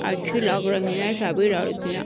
अच्छी लग रही हैं सभी लड़कियाँ।